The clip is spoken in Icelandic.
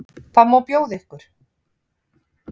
Hvað má bjóða ykkur?